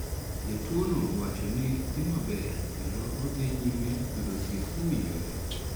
Jatuono owach ni dhi maber kendo odhi nyime yudo thieth mowinjore